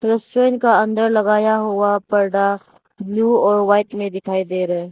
Restaurant का अंदर लगाया हुआ पर्दा ब्लू और वाइट में दिखाई दे रहा है।